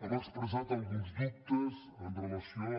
hem expressat alguns dubtes amb relació